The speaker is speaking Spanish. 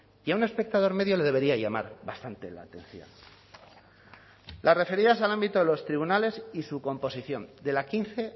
y a un espectador medio le debería llamar bastante la atención las referidas al ámbito de los tribunales y su composición de la quince